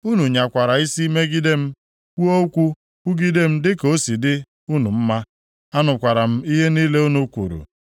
Unu nyakwara isi megide m, kwuo okwu kwugide m dịka o si dị unu mma. Anụkwara m ihe niile unu kwuru.